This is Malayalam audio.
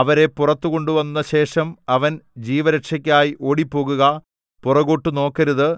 അവരെ പുറത്തുകൊണ്ടുവന്ന ശേഷം അവൻ ജീവരക്ഷയ്ക്കായി ഓടിപ്പോവുക പുറകോട്ട് നോക്കരുത്